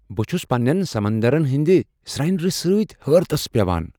بہٕ چھٗس پننین سمندرن ہنٛدِ سنیر سۭتۍ حیرتس پیوان ۔